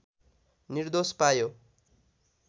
निर्दोष पायो